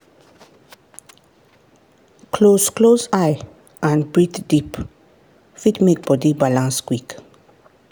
close close eye and breathe deep fit make body balance quick.